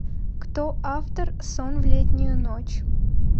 кто автор сон в летнюю ночь